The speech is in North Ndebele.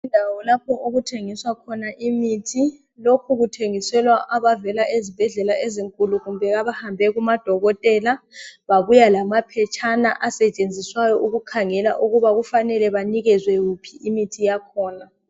Indawo lapho okuthengiswa khona imithi. Lokhu kuthengiselwa abavela ezibhedlela ezinkulu kumbe abahambe kumadokotela, babuya lamaphetshana asetshenziswayo ukukhangela ukuba kufanele banikezwe yiphi imithi.